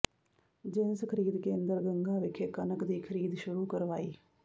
ਜਿਣਸ ਖਰੀਦ ਕੇਂਦਰ ਗੰਗਾ ਵਿਖੇ ਕਣਕ ਦੀ ਖਰੀਦ ਸ਼ੁਰੂ ਕਰਵਾਈ